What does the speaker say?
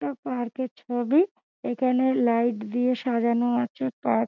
একটা পার্ক -এর ছবি। এখানে লাইট দিয়ে সাজানো আছে পার্ক ---